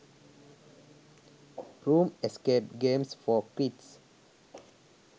room escape games for kids